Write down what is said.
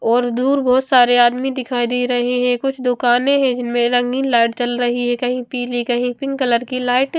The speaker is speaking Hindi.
और दूर बोहोत सारे आदमी दिखाई दे रहे है कुछ दुकाने है जिनमे रंगीन लाइट जल रही है कहिओ पिली कही पिंक कलर की लाइट --